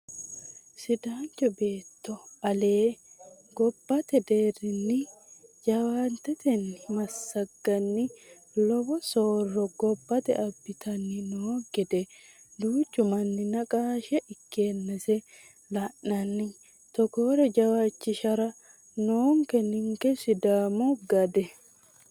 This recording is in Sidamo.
Sidaancho beetto ale gobbate deerrinni jawantetenni massaganni lowo soorro gobbate abbittanni no gede duuchu manni naqashe ikkannase la'nanni togore jawaachihira noonke ninke sidaamu gede.